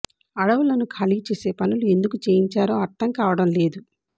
అడవ్ఞలను ఖాళీ చేసే పనులు ఎందు కు చేయించారో అర్థంకావడం లేదు